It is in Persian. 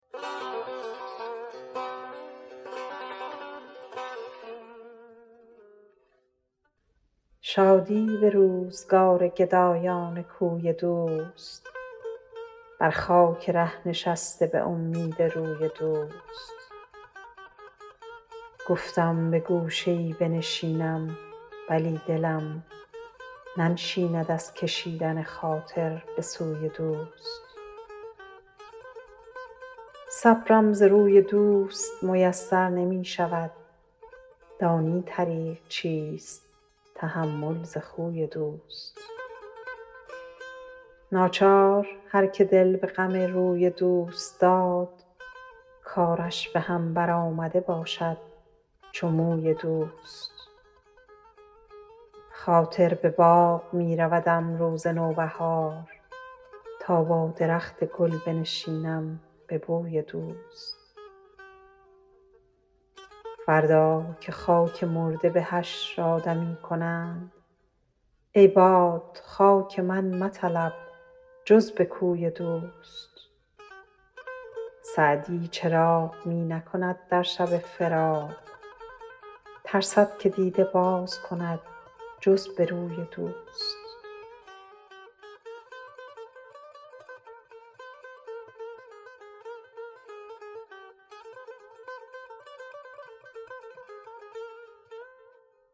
شادی به روزگار گدایان کوی دوست بر خاک ره نشسته به امید روی دوست گفتم به گوشه ای بنشینم ولی دلم ننشیند از کشیدن خاطر به سوی دوست صبرم ز روی دوست میسر نمی شود دانی طریق چیست تحمل ز خوی دوست ناچار هر که دل به غم روی دوست داد کارش به هم برآمده باشد چو موی دوست خاطر به باغ می رودم روز نوبهار تا با درخت گل بنشینم به بوی دوست فردا که خاک مرده به حشر آدمی کنند ای باد خاک من مطلب جز به کوی دوست سعدی چراغ می نکند در شب فراق ترسد که دیده باز کند جز به روی دوست